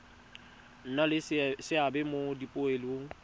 nna le seabe mo dipoelong